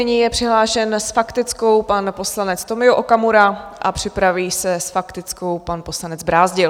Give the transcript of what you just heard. Nyní je přihlášen s faktickou pan poslanec Tomio Okamura a připraví se s faktickou pan poslanec Brázdil.